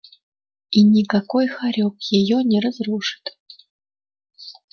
и никакой хорёк её не разрушит